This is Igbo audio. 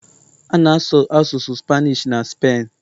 A na-asụ asụsụ Spanish na Spen